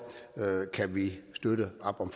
kan vi støtte op om